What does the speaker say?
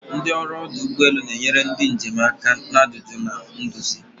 Ndị ọrụ ọdụ ụgbọ elu ga-enyere ndị njem aka na ajụjụ na nduzi.